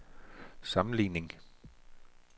sammenligning